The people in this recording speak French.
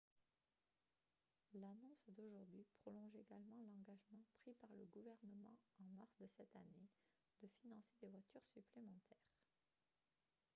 l'annonce d'aujourd'hui prolonge également l'engagement pris par le gouvernement en mars de cette année de financer des voitures supplémentaires